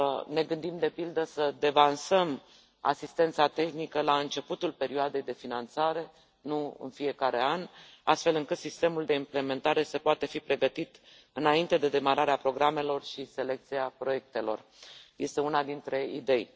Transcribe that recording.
Ne gândim, de pildă, să devansăm asistența tehnică la începutul perioadei de finanțare, nu în fiecare an, astfel încât sistemul de implementare să poate fi pregătit înainte de demararea programelor și selecția proiectelor este una dintre idei.